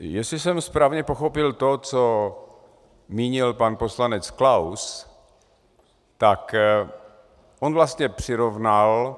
Jestli jsem správně pochopil to, co mínil pan poslanec Klaus, tak on vlastně přirovnal